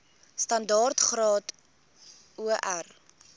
standaard graad or